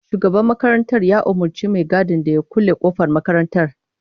Shugaban makarantar ya umurci mai gadin ya kulle kofar makarantar.